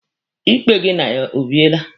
Ikpe gị na ya o biele?